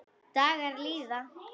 Dagar líða.